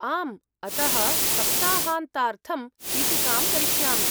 आम्, अतः सप्ताहान्तार्थं चीटिकां करिष्यामि।